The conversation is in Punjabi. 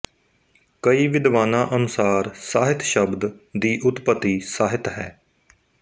ਕਈ ਵਿਦਵਾਨਾਂ ਅਨੁਸਾਰ ਸਾਹਿਤ ਸ਼ਬਦ ਦੀ ਉਤਪਤੀ ਸਾਹਿਤ ਹੈ